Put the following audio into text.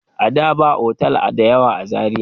Ada ba otal da yawa a Zariya.